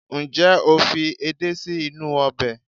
njé o fi edé sí inú obe